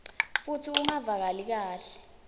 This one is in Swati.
futsi ungevakali kahle